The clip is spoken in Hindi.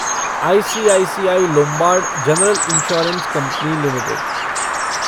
ICICI Lombard general insurance company limited